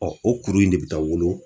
Ɔ o kuru in de bi taa wolo